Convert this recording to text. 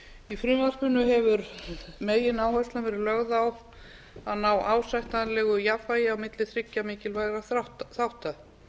í frumvarpinu hefur megináherslan verið lögð á að ná ásættanlegu jafnvægi milli þriggja mikilvægra þátta